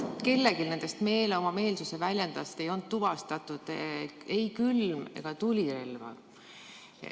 Kellelgi nendest oma meelsuse väljendajatest ei olnud tuvastatud ei külm- ega tulirelva.